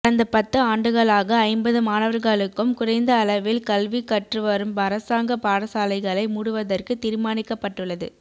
கடந்த பத்து ஆண்டுகளாக ஐம்பது மாணவர்களுக்கும் குறைந்த அளவில் கல்வி கற்று வரும் அரசாங்க பாடசாலைகளை மூடுவதற்கு தீர்மானிக்கப்பட்டுள்ளது